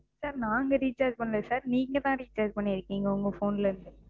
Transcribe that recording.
Sir நாங்க Recharge பண்ணலை Sir. நீங்க தான் Recharge பண்ணிருக்கீங்க. உங்க Phone ல இருந்து,